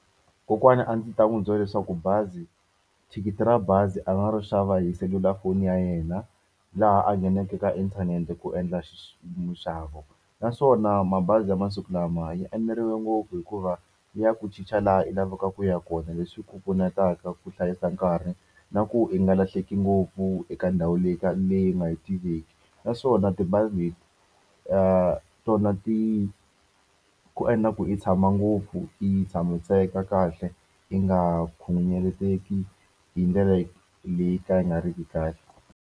Kokwana a ndzi ta n'wi byela leswaku bazi thikithi ra bazi a nga ri xava hi selulafoni ya yena laha a nghenaka ka inthanete ku endla minxavo. Naswona mabazi ya masiku lama ya eneriwe ngopfu hikuva ya ku chicha laha u lavaka ku ya kona leswi ku pfunetaka ku hlayisa nkarhi, na ku i nga lahleki ngopfu eka ndhawu leyi leyi u nga yi tiveki. Naswona tibazi leti tona ti ku endla ku i tshama ngopfu, i tshamiseka kahle, i nga khunguvanyeki hi ndlela leyi ka yi nga ri ki kahle.